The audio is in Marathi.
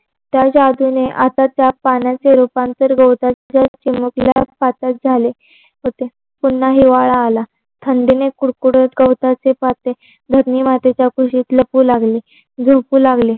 त्या जागेने आता त्या पाण्याचे रूपांतर गवताचे चुमकल्या पातेत झाले होते. अं पुन्हा हिवाळा आला, थंडीने कुडकुडत गवताचे पाते धरणी मातेच्या कुशीत लपू लागल. झोपू लागले.